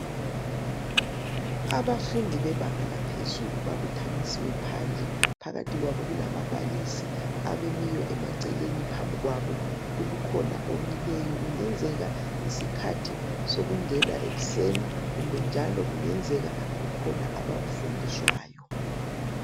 Abafundi bebanga laphezulu babuthanisiwe phandle, phakathi kwabo kulababalisi abemiyo emaceleni, phambi kwabo kukhona omileyo, kungenzeka yisikhathi sokungena ekuseni, kumbe njalo kungenzeka kukhona abakufundiswayo.